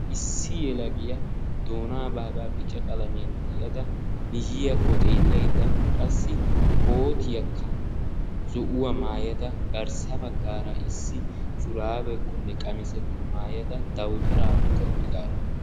Issi yelagiya doonaa baaga bica qalamiyan tiyada miyiyakko xeelaydda qassi kootiyakka zo"uwa maayada garssa baggaara issi shuraabekkone qamisekko maayaada dawutara oyqqa uttidaaro.